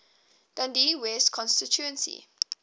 dundee west constituency